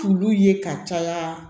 Fulu ye ka caya